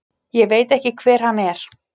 Ég veit ekki hver hann er.